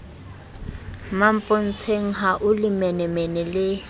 mmampontsheng ha o lelemenemene le